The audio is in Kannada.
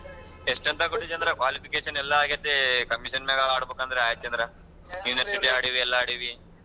ಎಷ್ಟ್ ಎಂಥ ಕೊಟ್ಟಿದ್ಯಾ ಅಂದ್ರೆ qualification ಯೆಲ್ಲಾ ಆಗೇತೆ commission ಮೇಲ್ ಆಡ್ಬೇಕು ಅಂದ್ರೆ ಹ್ಯಾಗ್ ಚಂದ್ರ university ಆಡೀವಿ ಎಲ್ಲ ಆಡೀವಿ.